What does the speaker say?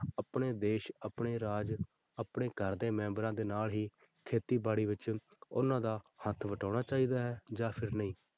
ਆਪਣੇ ਦੇਸ ਆਪਣੇ ਰਾਜ ਆਪਣੇ ਘਰਦੇ ਮੈਂਬਰਾਂ ਦੇ ਨਾਲ ਹੀ ਖੇਤੀਬਾੜੀ ਵਿੱਚ ਉਹਨਾਂ ਦਾ ਹੱਥ ਵਟਾਉਣਾ ਚਾਹੀਦਾ ਹੈ ਜਾਂ ਫਿਰ ਨਹੀਂ।